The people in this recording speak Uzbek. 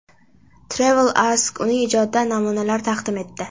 Travel Ask uning ijodidan namunalar taqdim etdi.